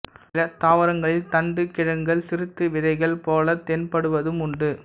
சில தாவரங்களில் தண்டுக் கிழங்குகள் சிறுத்து விதைகள் போலக் தென்படுவதும் உண்டு